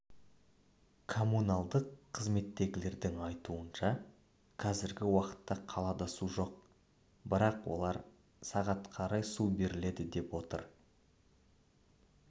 коммуналдық қызметтегілердің айтуынша қазіргі уақытта қалада су жоқ бірақ олар сағат қарай су беріледі деп отыр